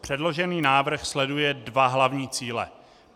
Předložený návrh sleduje dva hlavní cíle.